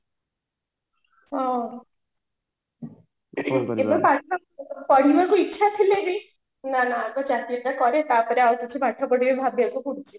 ହଁ ଏବେ ପଢିବାକୁ ଇଚ୍ଛା ଥିଲେ ବି ନା ନା ଆଗ ଚାକିରି ଟା କରେ ତାପରେ ଆଉ କିଛି ପାଠ ପଢିବି ଭାବେ